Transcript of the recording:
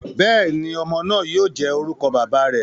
Bẹẹni, ọmọ naa yoo jẹ orukọ baba rẹ.